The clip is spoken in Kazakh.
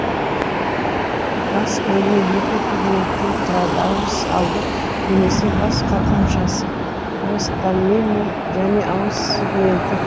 бас бөлімі екі пигменттен тұрады ауыз алды немесе бас қалқаншасы простомиум және ауыз сегменті